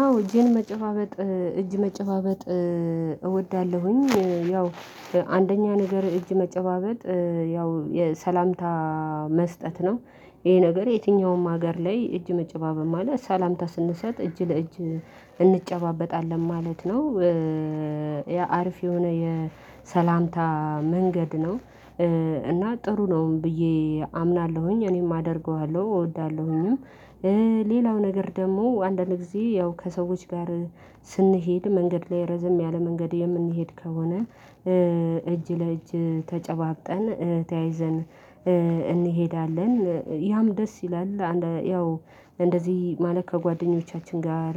አዎ እጄን መጨባበጥ እጅ መጨባበጥ እወዳለሁኝ ያው አንደኛ ነገር እጅ መጨባበጥ ያው የሰላምታ መስጠት ነው። ይሄ ነገር የትኛውም ሀገር ላይ እጅ መጨባበብ ማለት ሰላምታ ስንሰጥ እጅ ለእጅ እንጨባበጣለን ማለት ነው። የአሪፍ የሆነ የሰላምታ መንገድ ነው። እና ጥሩ ነው ብዬ አምናለሁኝ እኔም አደርገዋለሁ እወዳለሁኝም። ሌላው ነገር ደግሞ አንዳንድ ጊዜ ያው ከሰዎች ጋር ስንሄድ መንገድ ላይ ረዘም ያለ መንገድ የምንሄድ ከሆነ። እጅ ለእጅ ተጨባብጠን ተያይዘን እንሄዳለን ያም ደስ ይላል። አንድ ያው እንደዚህ ማለት ከጓደኞቻችን ጋር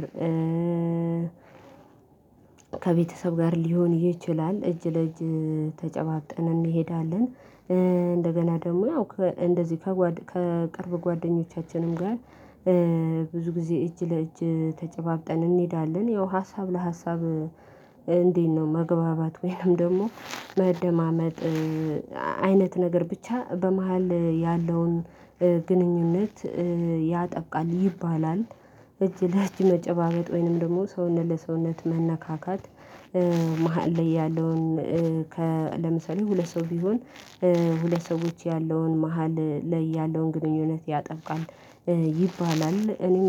ከቤተሰብ ጋር ሊሆን ይችላል እጅ ለእጅ ተጨባጥን እንሄዳለን። እንደገና ደግሞ ያው እንደዚህ ከቅርብ ጓደኞቻችንም ጋር ብዙ ጊዜ እጅ ለእጅ ተጨባብጠን እንሄዳለን። ያው ሀሳብ ለሀሳብ እንዴት? ነው መግባባት ወይንም ደግሞ መደማመጥ አይነት ነገር ብቻ በመሃል ያለውን ግንኙነት ያጠብቃል ይባላል። እጅ ለእጅ መጨባበጥ ወይንም ደግሞ ሰውነት ለሰውነት መነካካት። መሃል ላይ ያለውን ለምሳሌ ሁለት ሰው ቢሆን። ሁለት ሰዎች ያለውን መሃል ላይ ያለውን ግንኙነት ያጠብቃል ይባላል። እኔም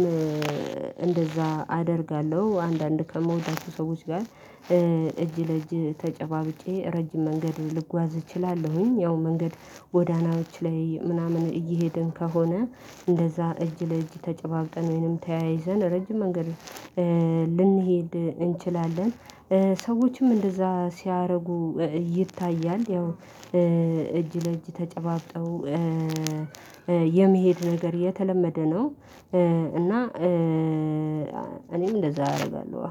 እንደዛ አደርጋለሁ አንዳንድ ከምወዳቸው ሰዎች ጋር እጅ ለእጅ ተጨባብጬ ረጅም መንገድ ልጓዝ እችላለሁኝ። ያው መንገድ ጎዳናዎች ላይ ምናምን እየሄድን ከሆነ እንደዛ እጅ ለእጅ ተጨባብጠን ወይንም ተያይዘን ረጅም መንገድ ልንሄድ እንችላለን። ሰዎችም እንደዛ ሲያደርጉ ይታያል። ያው እጅ ለእጅ ተጨባብጠው የመሄድ ነገር የተለመደ ነው። እና እኔም እንደዛ አደርጋለሁ።